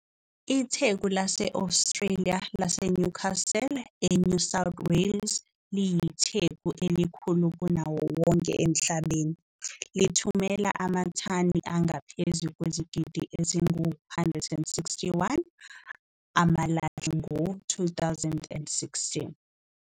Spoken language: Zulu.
Itheku lase-Australia laseNewcastle, eNew South Wales liyitheku elikhulu kunawo wonke emhlabeni, lithumela amathani angaphezu kwezigidi ezingu-161 amalahle ngo-2016.